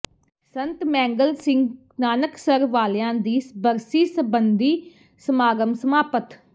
ਸੰਤ ਮੈਂਗਲ ਸਿੰਘ ਨਾਨਕਸਰ ਵਾਲਿਆਂ ਦੀ ਬਰਸੀ ਸਬੰਧੀ ਸਮਾਗਮ ਸਮਾਪਤ